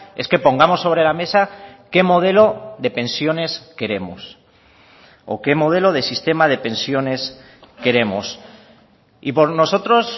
es que pongamos sobre la mesa qué modelo de pensiones queremos o qué modelo de sistema de pensiones queremos y por nosotros